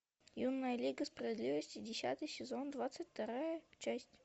юная лига справедливости десятый сезон двадцать вторая часть